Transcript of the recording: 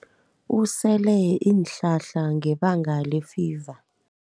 Usele iinhlahla ngebanga lefiva.